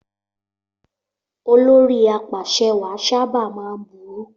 Olórí apàṣẹwàá sábà máa ń burú.